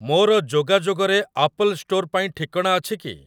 ମୋର ଯୋଗାଯୋଗରେ Apple Store ପାଇଁ ଠିକଣା ଅଛି କି?